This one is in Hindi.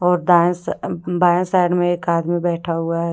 और दाया स अम्म बाया साइड में एक आदमी बैठा हुआ है।